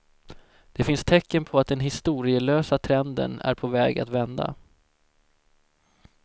Det finns tecken på att den historielösa trenden är på väg att vända.